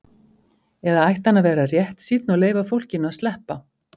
Eða ætti hann að vera réttsýnn og leyfa fólkinu að sleppa?